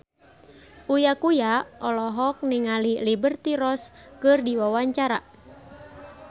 Uya Kuya olohok ningali Liberty Ross keur diwawancara